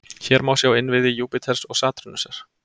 Hér má sjá innviði Júpíters og Satúrnusar.